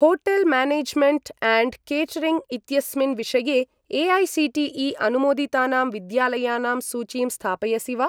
Hotel management and catering इत्यस्मिन् विषये AICTE. अनुमोदितानां विद्यालयानां सूचीं स्थापयसि वा?